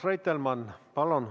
Urmas Reitelmann, palun!